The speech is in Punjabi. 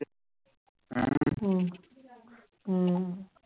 ਹਮ ਹਮ